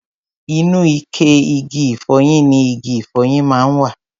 Inú ike igi ìfọyín ni igi ìfọyín máa ń wà.